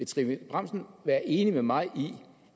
trine bramsen være enig med mig i